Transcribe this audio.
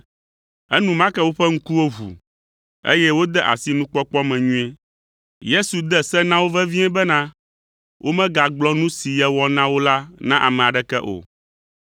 Enumake woƒe ŋkuwo ʋu, eye wode asi nukpɔkpɔ me nyuie. Yesu de se na wo vevie bena, womegagblɔ nu si yewɔ na wo la na ame aɖeke o.